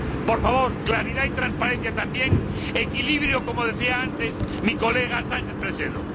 Por favor, claridad y transparencia, también equilibrio, como decía antes mi colega Sánchez Presedo.